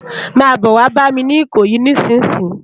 Má bò wá bàmi ni Ikoyi nisinsin